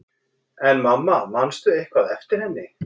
En mamma, manstu eitthvað eftir henni?